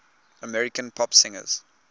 american pop singers